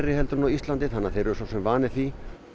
en á Íslandi þannig að þeir eru svo sem vanir því